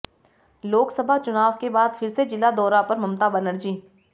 लोकसभा चुनाव के बाद फिर से जिला दौरा पर ममता बनर्जी